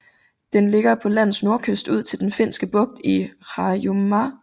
Den ligger på landets nordkyst ud til Den Finske Bugt i Harjumaa